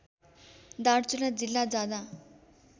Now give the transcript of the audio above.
दार्चुला जिल्ला जाँदा